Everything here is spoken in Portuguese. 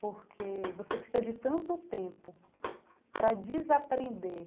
Porque você precisa de tanto tempo para desaprender